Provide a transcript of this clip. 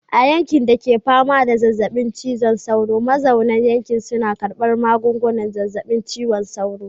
A yankin da ke fama da zazzabin cizon sauro, mazauna yankin suna karbar magungunan zazzabin cizon sauro.